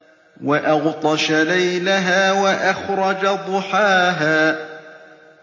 وَأَغْطَشَ لَيْلَهَا وَأَخْرَجَ ضُحَاهَا